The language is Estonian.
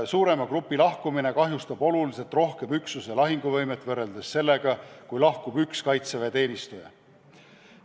Suurema grupi lahkumine kahjustab oluliselt rohkem üksuse lahinguvõimet võrreldes sellega, kui lahkub üks kaitseväeteenistuja.